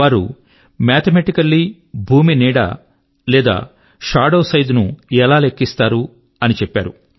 వారు మాథమెటికల్ భూమి యొక్క నీడ లేదా షాడో సైజ్ ను ఎలా లెక్కిస్తారు అని చెప్పారు